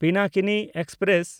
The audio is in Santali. ᱯᱤᱱᱟᱠᱤᱱᱤ ᱮᱠᱥᱯᱨᱮᱥ